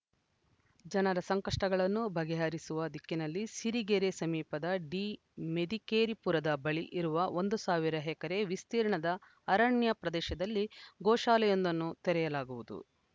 ಜನರ ಸಂಕಷ್ಟಗಳನ್ನು ಬಗೆಹರಿಸುವ ದಿಕ್ಕಿನಲ್ಲಿ ಸಿರಿಗೆರೆ ಸಮೀಪದ ಡಿಮೆದಿಕೇರಿಪುರದ ಬಳಿ ಇರುವ ಒಂದು ಸಾವಿರ ಎಕರೆ ವಿಸ್ತೀರ್ಣದ ಅರಣ್ಯ ಪ್ರದೇಶದಲ್ಲಿ ಗೋಶಾಲೆಯೊಂದನ್ನು ತೆರೆಯಲಾಗುವುದು